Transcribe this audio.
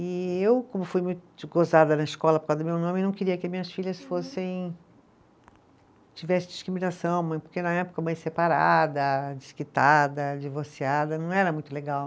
E eu, como fui muito gozada na escola por causa do meu nome, não queria que as minhas filhas fossem tivessem discriminação, porque na época mãe separada, desquitada, divorciada, não era muito legal.